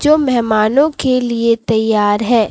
जो मेहमानों के लिए तैयार है।